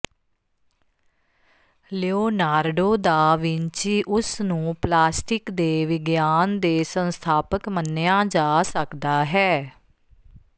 Leonardo da Vinci ਉਸ ਨੂੰ plastic ਦੇ ਵਿਗਿਆਨ ਦੇ ਸੰਸਥਾਪਕ ਮੰਨਿਆ ਜਾ ਸਕਦਾ ਹੈ